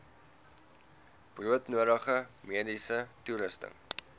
broodnodige mediese toerusting